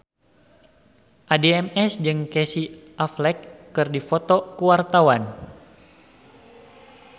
Addie MS jeung Casey Affleck keur dipoto ku wartawan